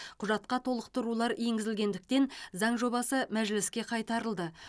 құжатқа толықтырулар енгізілгендіктен заң жобасы мәжіліске қайтарылды